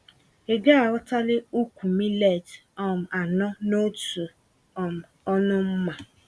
Ịgaaghọtali úkwú millet um anọ n'otu um ọnụ mmá